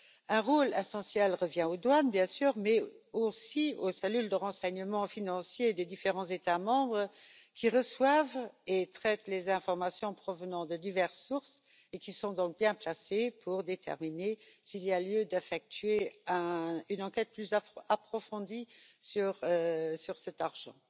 Un rôle essentiel revient aux douanes, bien sûr, mais aussi aux cellules de renseignement financier des différents États membres, qui reçoivent et traitent les informations provenant de diverses sources et sont donc bien placées pour déterminer s'il y a lieu d'effectuer une enquête plus approfondie sur cet argent.